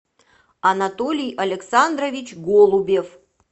анатолий александрович голубев